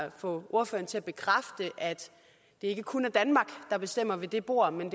at få ordføreren til at bekræfte at det ikke kun er danmark der bestemmer ved det bord men